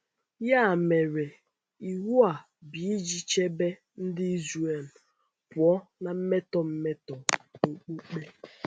Ya mere, iwu a bụ iji chebe Ndị Israel pụọ na mmetọ mmetọ okpukpe.